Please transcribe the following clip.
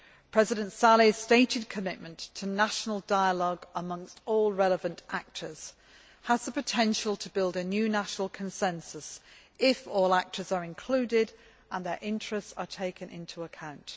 President Saleh's stated commitment to national dialogue amongst all relevant actors has the potential to build a new national consensus, if all actors are included and their interests are taken into account.